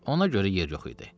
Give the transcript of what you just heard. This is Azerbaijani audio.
Ona görə yer yox idi.